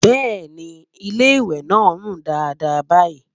bẹẹni, ilé ìwé nà rún Dàda bayi